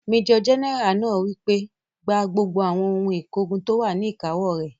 Majọ gẹ́nẹ́rà náà wí pé, "Gba gbogbo àwọn ohun ìkógun tó wà ní ìkáwó rẹ̀!